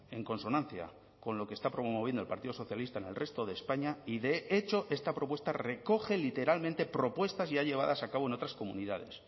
en consonancia con lo que está promoviendo el partido socialista en el resto de españa y de hecho esta propuesta recoge literalmente propuestas ya llevadas a cabo en otras comunidades